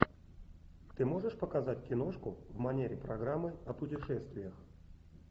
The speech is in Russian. ты можешь показать киношку в манере программы о путешествиях